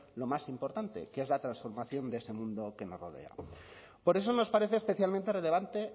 lo más importante que es la transformación de ese mundo que nos rodea por eso nos parece especialmente relevante